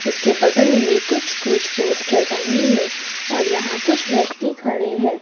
इसके बगल में कुछ कुछ पोस्टर टंगी है और यहां कुछ व्यक्ति खड़े हैं।